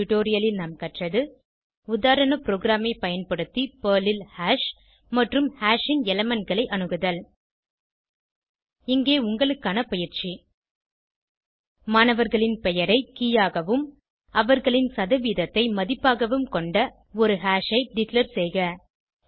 இந்த டுடோரியலில் நாம் கற்றது உதாரண ப்ரோகிராமை பயன்படுத்தி பெர்ல் ல் ஹாஷ் மற்றும் ஹாஷ் ன் எலிமெண்ட் களை அணுகுதல் இங்கே உங்களுக்கான பயிற்சி மாணவரின் பெயரை ஐ கே ஆகவும் அவரின் சதவீதத்தை மதிப்பு ஆகவும் கொண்ட ஹாஷ் ஐ டிக்ளேர் செய்க